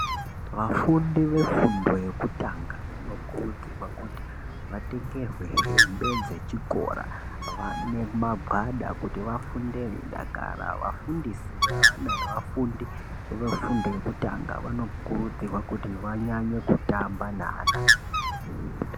Vafundi vefundo yekutanga vano kurudzirwa kuti vatengerwe hembe dzechikora vanemagwada kuti vafunde veidakara ,vafundisi vevana veafundi vefundo yekutanga vanokurudzirwa kuti vanyanye kutamba neana.